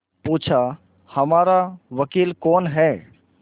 पूछाहमारा वकील कौन है